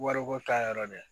Wariko ta yɔrɔ de